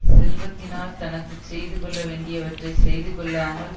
செல்வத்தினால் தனக்கு செய்து கொள்ள வேண்டியவற்றை செய்து கொள்ளாமல்